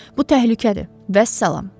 Bu təhlükədir, vəssalam.